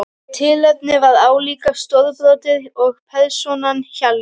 Og tilefnið var álíka stórbrotið og persónan Hjalli.